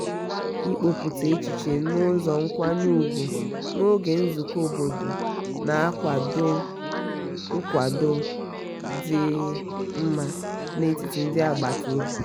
ịkoputa echiche n'ụzọ nkwanye ùgwù n'oge nzukọ obodo na-akwado nkwado dị mma n' etiti ndị agbata obi.